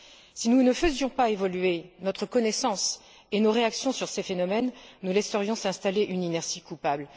Si nous ne faisions pas évoluer notre connaissance et nos réactions face à ces phénomènes, nous laisserions s'installer une inertie coupable.